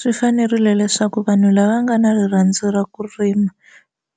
Swi fanerile leswaku vanhu lava nga na rirhandzu ra ku rima